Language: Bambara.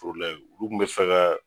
olu kun bɛ fɛ ka.